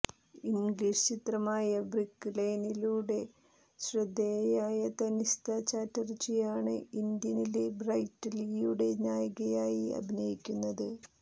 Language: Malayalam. ഇംഗ്ലീഷ് ചിത്രമായ ബ്രിക്ക് ലെയ്നിലൂടെ ശ്രദ്ധേയയായ തനിഷ്ത ചാറ്റര്ജിയാണ് അണ് ഇന്ത്യനില് ബ്രെറ്റ് ലീയുടെ നായികയായി അഭിനയിക്കുന്നത്